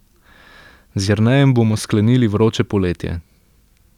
Z Jernejem bomo sklenili vroče poletje.